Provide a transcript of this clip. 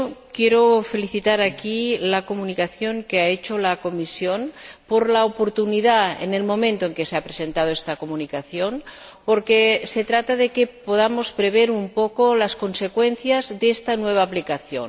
Quiero aplaudir aquí la Comunicación que ha elaborado la Comisión, por la oportunidad del momento en que se ha presentado esta Comunicación, porque se trata de que podamos prever un poco las consecuencias de esta nueva aplicación